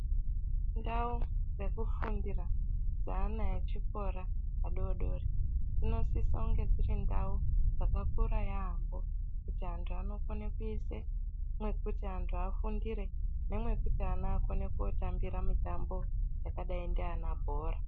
Ndau dzekufundira dzeana achikora adodori dzinosisa kunge dziri ndau dzakakura yaambo kuti antu anokone kuise mwekuti antu afundire nemwekuti ana akone kotambira mitambo yakadai ndiana bhora.